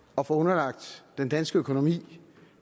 at få underlagt den danske økonomi